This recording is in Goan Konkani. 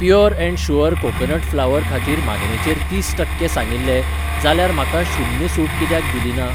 Pure and sure coconut flour खातीर मागणेचेर तीस टक्के सांगिल्लें जाल्यार म्हाका शून्य सूट कित्याक दिली ना?